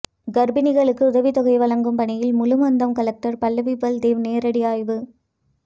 கர்ப்பிணிகளுக்கு உதவித்தொகை வழங்கும் பணிகள் முழு மந்தம் கலெக்டர் பல்லவி பல்தேவ் நேரடி ஆய்வு